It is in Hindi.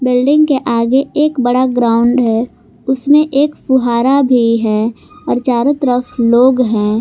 बिल्डिंग के आगे एक बड़ा ग्राउंड है उसमें एक फुहारा भी है और चारों तरफ लोग हैं।